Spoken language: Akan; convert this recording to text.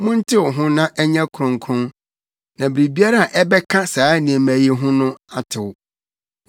Montew ho na ɛnyɛ kronkron na biribiara a ɛbɛka saa nneɛma yi no ho atew.